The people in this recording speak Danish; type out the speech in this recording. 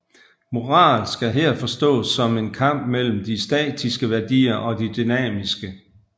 Moral skal her forstås som en kamp mellem de statiske værdier og de dynamiske